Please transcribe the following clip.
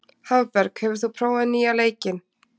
Hafberg, hefur þú prófað nýja leikinn?